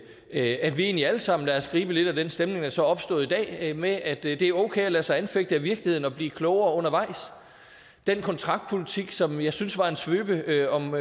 at vi egentlig alle sammen lader os gribe lidt af den stemning der så er opstået i dag med at det er okay at lade sig anfægte af virkeligheden og blive klogere undervejs den kontraktpolitik som jeg synes var en svøbe om